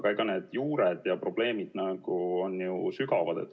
Aga need juured ja probleemid on ju sügavamad.